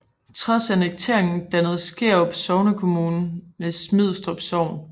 Trods annekteringen dannede Skærup sognekommune med Smidstrup Sogn